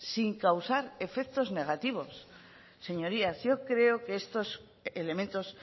sin causar efectos negativos señorías yo creo que estos elementos